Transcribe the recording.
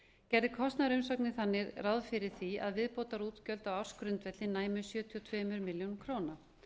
gerði kostnaðarumsögnin þannig ráð fyrir því að viðbótarútgjöld á ársgrundvelli næmu um sjötíu og tvær milljónir króna